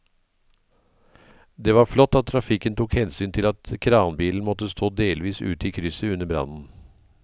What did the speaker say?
Det var flott at trafikken tok hensyn til at kranbilen måtte stå delvis ute i krysset under brannen.